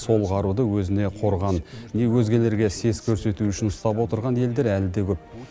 сол қаруды өзіне қорған не өзгелерге сес көрсету үшін ұстап отырған елдер әлі де көп